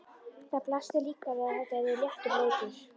Það blasti líka við að þetta yrði léttur leikur.